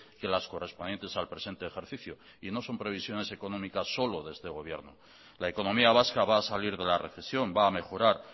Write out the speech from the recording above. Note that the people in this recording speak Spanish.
que las correspondientes al presente ejercicio y no son previsiones económicas solo de este gobierno la economía vasca va a salir de la recesión va a mejorar